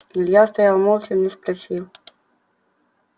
илья стоял молча не спорил